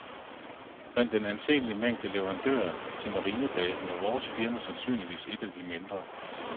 Blandt den anseelige mængde leverandører til marinebasen var vores firma sandsynligvis et af de mindre.